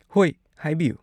ꯍꯣꯏ, ꯍꯥꯏꯕꯤꯌꯨ꯫